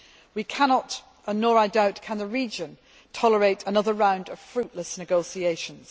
We cannot nor, I doubt, can the region tolerate another round of fruitless negotiations.